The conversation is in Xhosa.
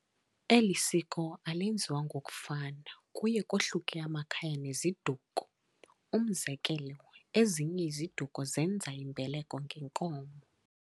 Elisiko alenziwa ngokufana kuye kohluke amakhaya neziduko, umzekelo ezinye iziduko zenza imbeleko nge nkomo.